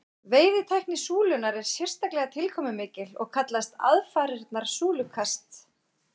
veiðitækni súlunnar er sérstaklega tilkomumikil og kallast aðfarirnar súlukast